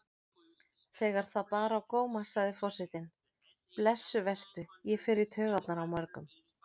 Þegar það bar á góma sagði forsetinn: Blessuð vertu, ég fer í taugarnar á mörgum.